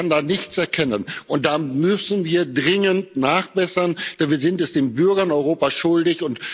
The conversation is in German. Ich kann da nichts erkennen, und da müssen wir dringend nachbessern, denn wir sind es den Bürgern Europas schuldig.